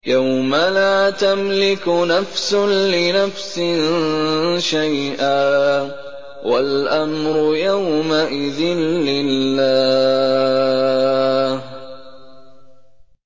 يَوْمَ لَا تَمْلِكُ نَفْسٌ لِّنَفْسٍ شَيْئًا ۖ وَالْأَمْرُ يَوْمَئِذٍ لِّلَّهِ